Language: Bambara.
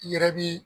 I yɛrɛ bi